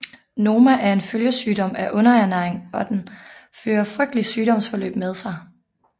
Noma er en følgesygdom af underernæring og den fører frygtelige sygdomsforløb med sig